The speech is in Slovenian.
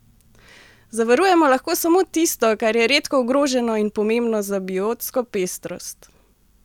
Zavarujemo lahko samo tisto, kar je redko ogroženo in pomembno za biotsko pestrost.